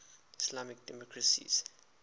islamic democracies